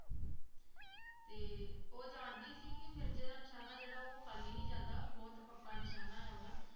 ਤੇ ਉਹ ਜਾਣਦੀ ਸੀ ਕਿ ਮਿਰਜ਼ੇ ਦਾ ਨਿਸ਼ਾਨਾ ਜਿਹੜਾ ਉਹ ਖਾਲੀ ਨਹੀਂ ਜਾਂਦਾ ਬਹੁਤ ਪੱਕਾ ਨਿਸ਼ਾਨਾ ਹੈ ਉਹਦਾ